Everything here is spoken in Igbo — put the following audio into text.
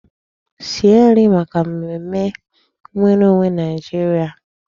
Sie nri maka mmemme nwereonwe Nigeria!